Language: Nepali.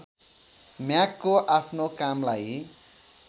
म्यागको आफ्नो कामलाई